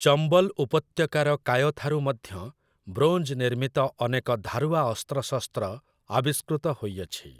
ଚମ୍ବଲ୍ ଉପତ୍ୟକାର କାୟଥାରୁ ମଧ୍ୟ ବ୍ରୋଞ୍ଜ ନିର୍ମିତ ଅନେକ ଧାରୁଆ ଅସ୍ତ୍ରଶସ୍ତ୍ର ଆବିଷ୍କୃତ ହୋଇଅଛି ।